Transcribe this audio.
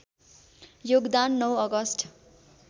योगदान ९ अगस्ट